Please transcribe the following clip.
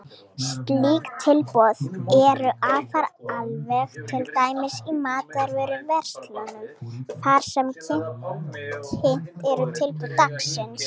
Slík tilboð eru afar algeng, til dæmis í matvöruverslunum þar sem kynnt eru tilboð dagsins.